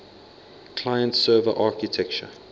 client server architecture